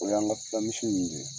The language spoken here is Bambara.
O y'an ka fula misi minnu ye